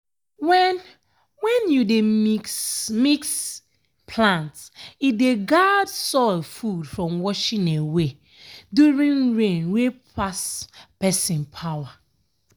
when when you dey mix-mix plant e dey guard soil food from washing away during rain wey pass person power.